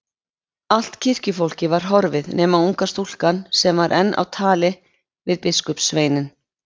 Allt kirkjufólkið var horfið nema unga stúlkan sem var enn á tali við biskupssveininn.